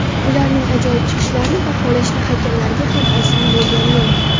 Ularning ajoyib chiqishlarini baholashda hakamlarga ham oson bo‘lgani yo‘q.